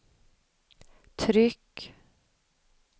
tryck